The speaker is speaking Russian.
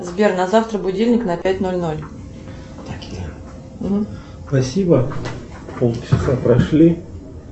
сбер на завтра будильник на пять ноль ноль